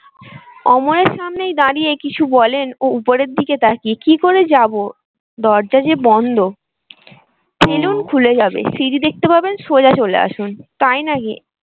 অমরের সামনেই দাঁড়িয়ে কিছু বলেন ও উপরের দিকে তাকিয়ে কি করে যাবো? দরজা যে বন্ধ খুলে যাবে সিঁড়ি দেখতে পাবেন সোজা চলে আসুন। তাই নাকি?